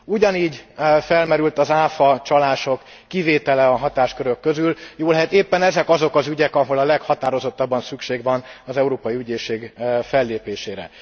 Ugyanígy felmerült az áfa csalások kivétele a hatáskörök közül, jóllehet éppen ezek azok az ügyek, ahol a leghatározottabban szükség van az Európai Ügyészség fellépésére.